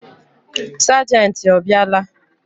Sagenti ọ bịa la?